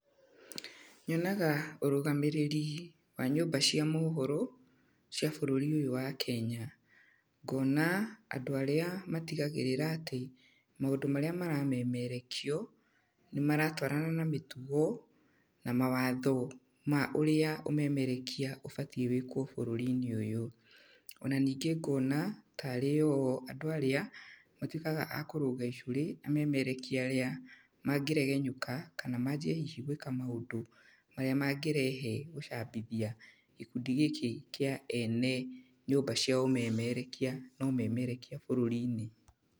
Nyonaga ũrũgamĩrĩri wa nyũmba cia mohoro, cia bũrũri ũyũ wa Kenya. Ngona andũ arĩa matigagĩrĩra atĩmaũndũ marĩa maramemerekio, nĩ maratwarana na mĩtugo, na mawatho ma ũrĩa ũmemerekia ũbatiĩ wĩkwo bũrũri-inĩ ũyũ. Ona ningĩ ngona, tarĩo o andũ arĩa, matuĩkaga a kũrũnga icũrĩ amemerekia arĩa mangĩregenyũka, kana manjie hihi gwĩka maũndũ marĩa mangĩrehe gũcambithia gĩkundi gĩkĩ kĩa ene nyũmba cia ũmemerekia na ũmemerekia bũrũri-inĩ.